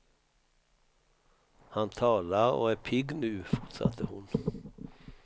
Han talar och är pigg nu, fortsatte hon.